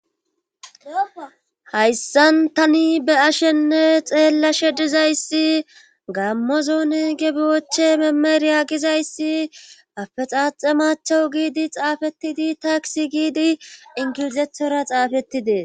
Hayssan tani be ashenne xeella she dizayssi gammozoone gebiwoche memeriya gizayssi afexaaxe maachowu giidi xaafetidi taaksi giidi inkizethora xaafetidee